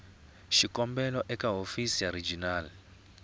xikombelo eka hofisi ya regional